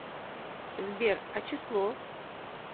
сбер а число